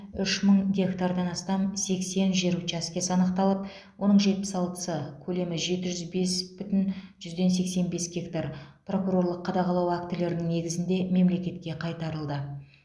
үш мың гектардан астам сексен жер учаскесі анықталып оның жетпіс алтысы көлемі жеті жүз бес бүтін жүзден сексен бес гектары прокурорлық қадағалау актілерінің негізінде мемлекетке қайтарылды